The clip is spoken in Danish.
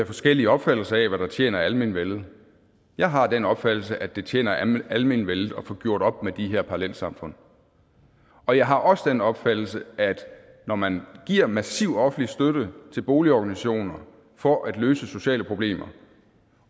forskellige opfattelser af hvad der tjener almenvellet jeg har den opfattelse at det tjener almenvellet at få gjort op med de her parallelsamfund og jeg har også den opfattelse at når man giver massiv offentlig støtte til boligorganisationer for at løse sociale problemer